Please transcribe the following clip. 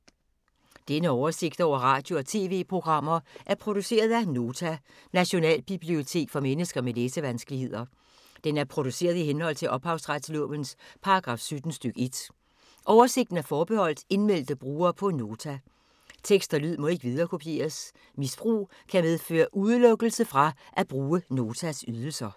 Denne oversigt over radio og TV-programmer er produceret af Nota, Nationalbibliotek for mennesker med læsevanskeligheder. Den er produceret i henhold til ophavsretslovens paragraf 17 stk. 1. Oversigten er forbeholdt indmeldte brugere på Nota. Tekst og lyd må ikke viderekopieres. Misbrug kan medføre udelukkelse fra at bruge Notas ydelser.